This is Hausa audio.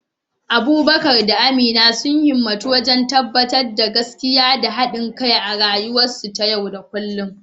Abubakar da Amina sun himmatu wajen tabbatar da gaskiya da haɗin kai a rayuwarsu ta yau da kullum.